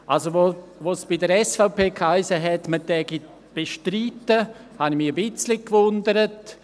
Also, als es bei der SVP hiess, man würde bestreiten, habe ich mich ein bisschen gewundert.